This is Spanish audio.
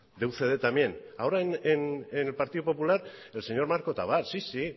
de ucd también ahora en el partido popular el señor marco tabar sí sí